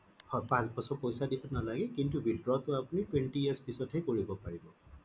পাঁচ বছৰ পইছা দিব নালাগে কিন্তু withdraw টো আপুনি twenty years পিছত হে কৰিব পাৰে